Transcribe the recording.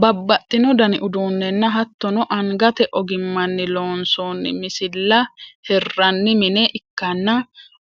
babbaxino dani uduunnenna hattono angate ogimmanni loonsoonni misilla hirranni mine ikkanna,